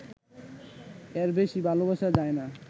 এর বেশি ভালোবাসা যায় না